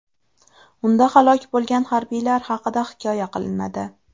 Unda halok bo‘lgan harbiylar haqida hikoya qilinadi.